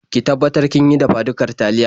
Ki tabbatar kin yi dafa-dukar taliya.